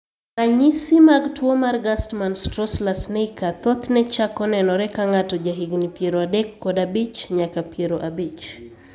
Ranyisi mag tuo mar Gerstmann Straussler Scheinker thothne chako nenore ka ng'ato jahigini 35 nyaka 50.